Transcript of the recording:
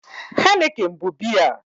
Heineken bụ biya